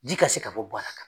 Ji ka se ka bɔ ka